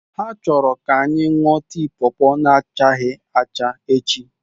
Ha chọrọ ka anyị ṅụọ tii pawpaw na achaghị acha echi.